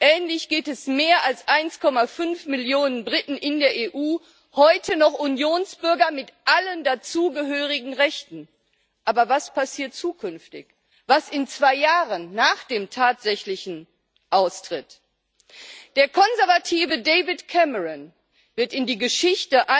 Ähnlich geht es mehr als 1,5 Millionen Briten in der EU heute noch Unionsbürger mit allen dazugehörigen Rechten, aber was passiert zukünftig, was in zwei Jahren, nach dem tatsächlichen Austritt? Der Konservative David Cameron wird in die Geschichte eingehen als ein Mann, dem kurzfristige populistische Erfolge wichtiger waren als das Schicksal all dieser Menschen.